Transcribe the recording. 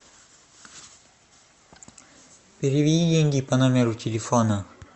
переведи деньги по номеру телефона